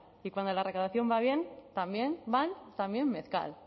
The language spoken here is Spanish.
y cuando la recaudación va mal también mezcal